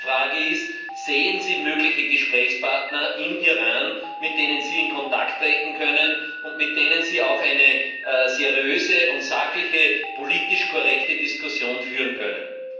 Meine Frage ist Sehen Sie mögliche Gesprächspartner im Iran, mit denen Sie in Kontakt treten können und mit denen Sie auch eine seriöse, sachliche und politisch korrekte Diskussion führen können?